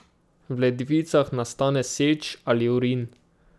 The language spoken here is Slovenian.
V ledvicah nastane seč ali urin.